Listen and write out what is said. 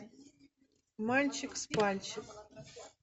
мальчик с пальчик